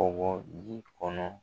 K'o bɔ ji kɔnɔ